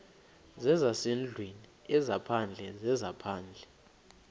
zezasendlwini ezaphandle zezaphandle